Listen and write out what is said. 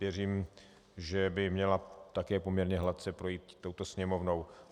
Věřím, že by měla také poměrně hladce projít touto Sněmovnou.